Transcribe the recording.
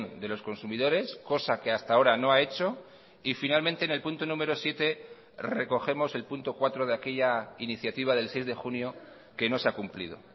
de los consumidores cosa que hasta ahora no ha hecho y finalmente en el punto número siete recogemos el punto cuatro de aquella iniciativa del seis de junio que no se ha cumplido